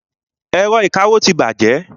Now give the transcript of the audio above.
Ẹ̀rọ ìkawó ti bàjẹ́.